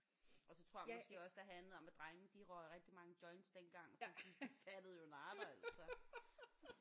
Og så tror jeg måske også der handlede om at drengene de røg rigtig mange joints dengang så de fattede jo nada altså